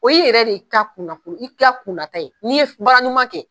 O ye i yɛrɛ de ta kunna ko ye i ka kunna ta ye n'i ye baara ɲuman kɛ